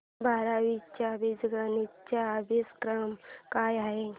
बारावी चा बीजगणिता चा अभ्यासक्रम काय आहे